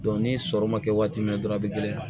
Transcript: ni sɔrɔ ma kɛ waati min dɔrɔn a bɛ gɛlɛya